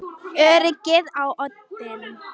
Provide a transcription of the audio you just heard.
Öryggið á oddinn!